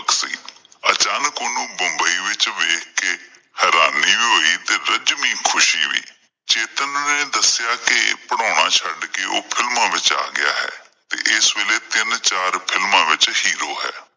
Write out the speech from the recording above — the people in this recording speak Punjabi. ਅਚਾਨਕ ਓਹਨੂੰ ਮੁੰਬਈ ਵਿੱਚ ਵੇਖ ਕੇ ਹੈਰਾਨੀ ਹੋਈ ਤੇ ਰਜਵੀਂ ਖੁਸ਼ੀ ਵੀ। ਚੇਤਨ ਨੇ ਦੱਸਿਆ ਕੀ ਓਹ ਪੜ੍ਹਾਉਣਾ ਛੱਡ ਕੇ ਫਿਲਮਾਂ ਵਿੱਚ ਆ ਗਿਆ ਹੈ ਤੇ ਇਸ ਵੇਲੇ ਤਿੰਨ ਚਾਰ ਫਿਲਮਾਂ ਵਿੱਚ ਹੀ ਰੋਲ ਹੈ।